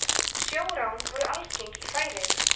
sjórán voru algeng í færeyjum